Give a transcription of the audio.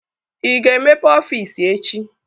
Ị ga-emepe ọfiisi echi!